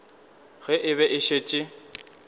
ge e be e šetše